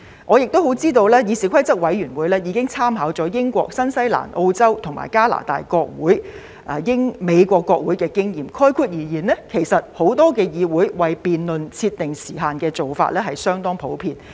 我亦知道議事規則委員會已經參考了英國、新西蘭、澳洲、加拿大及美國國會的經驗，概括而言，很多議會也會為辯論設定時限，這做法是相當普遍的。